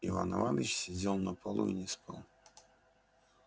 иван иваныч сидел на полу и не спал